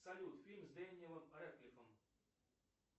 салют фильм с дэниэлом рэдклиффом